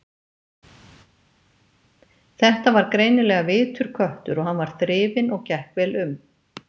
Þetta var greinilega vitur köttur og hann var þrifinn og gekk vel um.